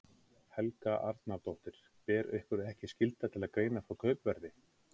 Helga Arnardóttir: Ber ykkur ekki skylda til að greina frá kaupverði?